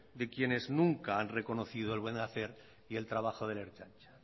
de quienes nunca han reconocido el buen hacer y el trabajo de la ertzaintza